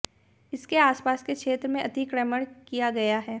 इसके आसपास के क्षेत्र में अतिक्रमण किया गया है